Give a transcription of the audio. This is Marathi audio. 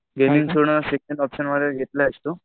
गेमिंग सोडून सेकेंड ऑप्शन मध्ये तू